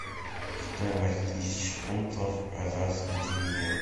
стоимость тысячи фунтов казахский тенге